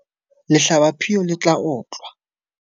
Lehlabaphio le tla otlwa.